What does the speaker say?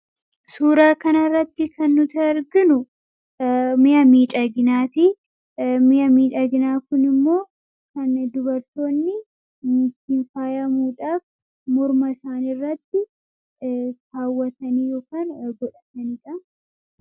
Suuraa kanarratti kan nuti arginu mi'a miidhaginaati. Mi'i miidhaginaa kun immoo kan dubartoonni ittiin faayamuuf morma isaaniirratti kaawwatan yookaan godhataniidha.